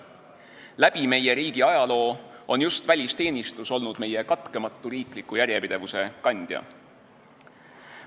Läbi meie riigi ajaloo on just välisteenistus olnud meie katkematu riikliku järjepidevuse kandja.